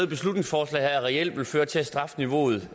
beslutningsforslaget reelt vil føre til at strafniveauet